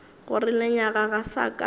gore lenyaga ga sa ka